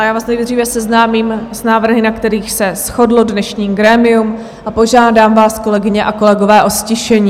A já vás nejdříve seznámím s návrhy, na kterých se shodlo dnešní grémium a požádám vás, kolegyně a kolegové, o ztišení.